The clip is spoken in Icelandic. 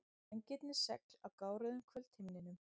Vængirnir segl á gáruðum kvöldhimninum.